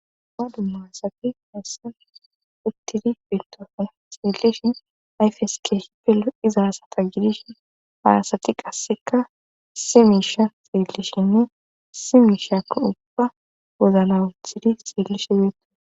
ba dumma asati hessa uttidi fittofe xeelishi ayfeske shipelo izahasata gidish haasati qasseka si miisha seelishinne simiishak ubba gozala uthidi seellishe beeto